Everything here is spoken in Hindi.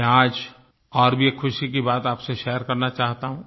मैं आज और भी एक खुशी की बात आपसे शेयर करना चाहता हूँ